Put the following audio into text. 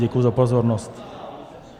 Děkuji za pozornost.